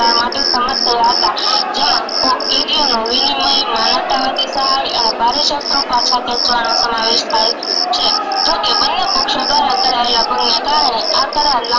લાંબા કરાયેલા કારણે આ કરાર